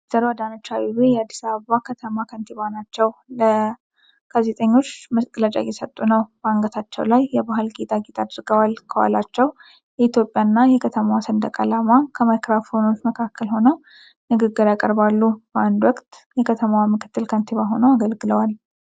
ወ/ሮ አዳነች አቤቤ የአዲስ አበባ ከተማ ከንቲባ ናቸው። ለጋዜጠኞች መግለጫ እየሰጡ ነው። በአንገታቸው ላይ የባህል ጌጣጌጥ አድርገዋል። ከኋላቸው የኢትዮጵያና የከተማዋን ሰንደቅ ዓላማ ከማይክራፎኖች መካከል ሆነው ንግግር ያቀርባሉ። በአንድ ወቅት የከተማዋ ምክትል ከንቲባ ሆነው አገልግለዋል።